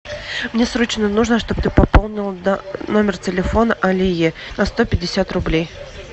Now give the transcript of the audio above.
мне срочно нужно чтобы ты пополнила номер телефона алие на сто пятьдесят рублей